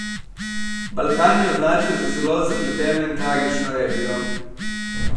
Balkan je označil za zelo zapleteno in tragično regijo.